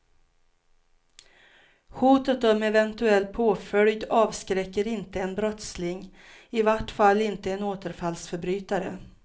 Hotet om eventuell påföljd avskräcker inte en brottsling, i vart fall inte en återfallsförbrytare.